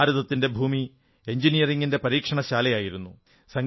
ഭാരതത്തിന്റെ ഭൂമി എഞ്ചിനീയറിംഗിന്റെ പരീക്ഷണശാലയായിരുന്നു